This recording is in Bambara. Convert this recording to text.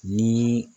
Ni